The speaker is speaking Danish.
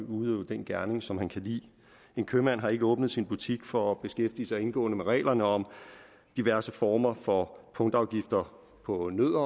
udøve den gerning som han kan lide en købmand har ikke åbnet sin butik for at beskæftige sig indgående med reglerne om diverse former for punktafgifter på nødder